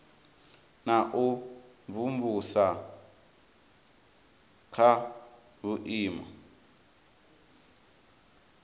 na u imvumvusa kha vhuimo